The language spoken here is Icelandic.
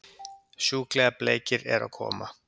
Sjúklega bleikir eru að koma!